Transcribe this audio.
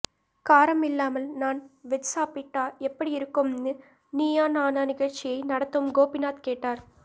காரம் இல்லாமல் non veg சாப்பிட்டா எப்படி இருக்கும்னு நீயா நானா நிகழ்ச்சியை நடத்தும் கோபிநாத் கேட்டார்